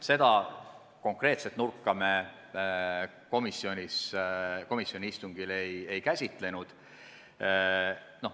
Seda konkreetset vaatenurka me komisjoni istungil ei käsitlenud.